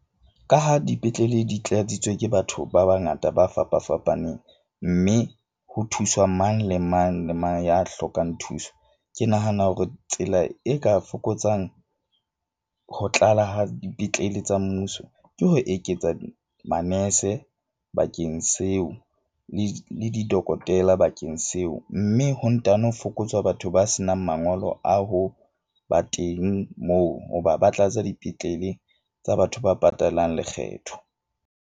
Ka ha dipetlele di tlatsitsweng ke batho ba bangata, ba fapa fapaneng, mme ho thuswa mang le mang le mang ya hlokang thuso. Ke nahana hore tsela e ka fokotsang ho tlala ha dipetlele tsa mmuso, ke ho eketsa manese bakeng seo le didokotela bakeng seo. Mme ho ntano fokotswa batho ba senang mangolo a ho ba teng, moo hoba ba tlatsa dipetlele tsa batho ba patalang lekgetho.